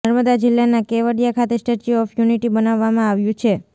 નર્મદા જિલ્લાના કેવડીયા ખાતે Statue of Unity બનાવવામાં આવ્યું છે